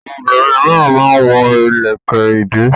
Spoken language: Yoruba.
Àwọn obìnrin mìíràn máa ń wọ ilẹ̀kẹ̀-ìdí.